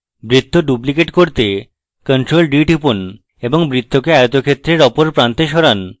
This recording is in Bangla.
বৃত্ত duplicate করতে ctrl + d টিপুন এবং বৃত্তকে আয়তক্ষেত্রের অপর প্রান্তে সরান